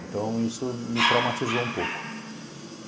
Então, isso me traumatizou um pouco.